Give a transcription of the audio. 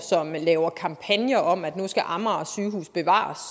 som laver kampagner om at nu skal amager sygehus bevares